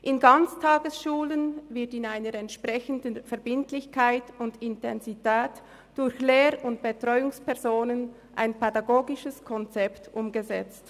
In Ganztagesschulen wird in einer entsprechenden Verbindlichkeit und Intensität durch Lehr- und Betreuungspersonen ein pädagogisches Konzept umgesetzt.